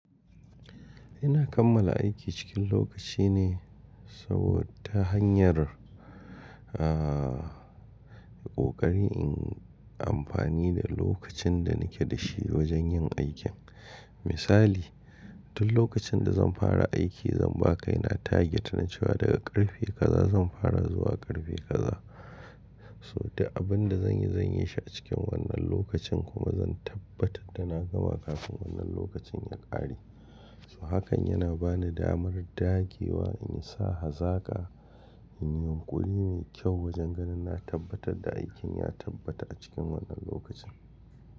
Ina kammala aiki cikin lokaci ne saboda ta hanyar, aah, ƙoƙari in amfani da lokacin da nake da shi wajen yin aikin. Misali, duk lokacin da zan fara aiki zan ba kaina target na cewa daga ƙarfe kaza zan fara zuwa ƙarfe kaza. So da abin da zan yi zan yi shi a cikin wannan lokacin kuma zan tabbatar da na gama kafin wannan lokacin ya ƙare. So hakan yana ba ni damar dagewa in yi sa hazaka, in yi yunƙuri mai kyau wajen ganin na tabbatar da aikin ya tabbata a cikin wannan lokacin.